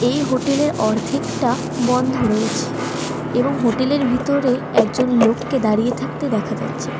এই হোটেল -এর অর্ধেকটা বন্ধ রয়েছে এবং হোটেল -এর ভিতরে একজন লোককে দাঁড়িয়ে থাকতে দেখা যাচ্ছে।